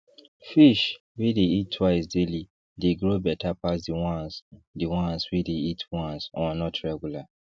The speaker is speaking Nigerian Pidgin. fish wey dey eat twice daily dey grow better pass the ones the ones wey dey eat once or not regular